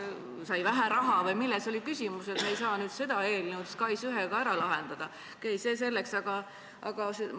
Nii et kas siis sai vähe raha või milles oli küsimus, et me ei saa nüüd seda eelnõu SKAIS1-ga ära lahendada?